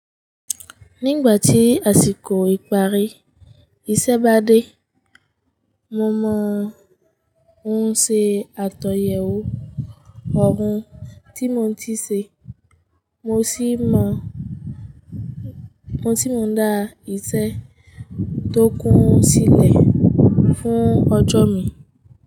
Nígbà tí àsìkò ìparí iṣẹ́ bá dé, mo mọ ohun ṣe àtòyèwò ọ̀rún tí mo ti ṣe, mo sì mọ mo sì mọ dá ìṣe tó kún sílẹ̀ fún ọjọ́ mi.